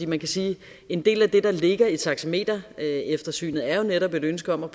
man kan sige at en del af det der ligger i taxametereftersynet jo netop er et ønske om at